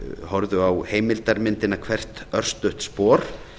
horfðu á heimildarmyndina hvert örstutt spor